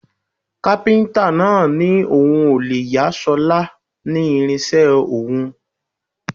Kápíntà náà ní òun ò lè yà ṣọlá ní irinṣẹ́ òun